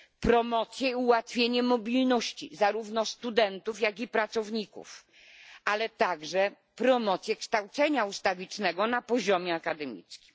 promocję ułatwienie mobilności zarówno studentów, jak i pracowników, ale także promocję kształcenia ustawicznego na poziomie akademickim.